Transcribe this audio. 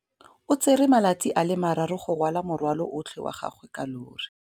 O tsere malatsi a le marraro go rwala morwalo otlhe wa gagwe ka llori.